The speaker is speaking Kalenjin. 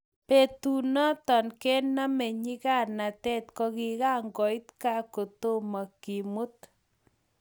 betunoto kenome nyikanatet kokikakoit Kaa kotomo kemut